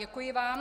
Děkuji vám.